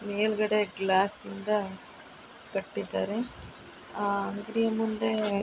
ಮೇಲ್ಗಡೆ ಗ್ಲಾಸ್ ನಿಂದ ಕಟ್ಟಿದ್ದಾರೆ ಆ ಈ ಮುಂದೆ --